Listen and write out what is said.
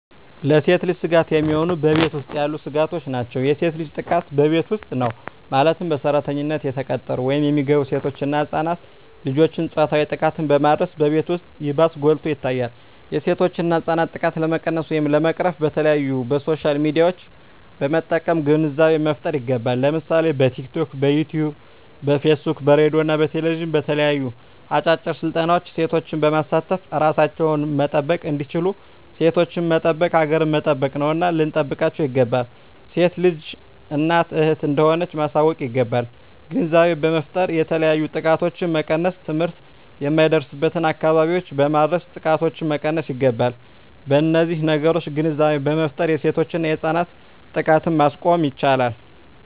ለሴት ልጅ ስጋት የሚሆኑ በቤት ውስጥ ያሉ ስጋቶች ናቸው። የሴት ልጅ ጥቃት በቤት ውስጥ ነው ማለትም በሰራተኝነት የተቀጠሩ ወይም የሚገቡ ሴቶች እና ህፃናት ልጆችን ፆታዊ ጥቃትን በማድረስ በቤት ውስጥ ይባስ ጎልቶ ይታያል የሴቶችና ህፃናት ጥቃት ለመቀነስ ወይም ለመቅረፍ በተለያዪ በሶሻል ሚዲያዎችን በመጠቀም ግንዛቤ መፍጠር ይገባል ለምሳሌ በቲክቶክ, በዩቲቪ , በፌስቡክ በሬድዬ እና በቴሌቪዥን በተለያዩ አጫጭር ስልጠናዎች ሴቶችን በማሳተፍ እራሳቸውን መጠበቅ እንዲችሉና ሴቶችን መጠበቅ ሀገርን መጠበቅ ነውና ልንጠብቃቸው ይገባል። ሴት ልጅ እናት እህት እንደሆነች ማሳወቅ ይገባል። ግንዛቤ በመፍጠር የተለያዩ ጥቃቶችን መቀነስ ትምህርት የማይደርስበትን አካባቢዎች በማድረስ ጥቃቶችን መቀነስ ይገባል። በነዚህ ነገሮች ግንዛቤ በመፍጠር የሴቶችና የህፃናት ጥቃትን ማስቆም ይቻላል።